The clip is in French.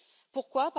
Pourquoi?